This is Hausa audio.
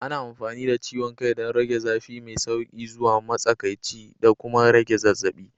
Ana amfani da ciwon kai don rage zafi mai sauƙi zuwa matsakaici da kuma rage zazzabi.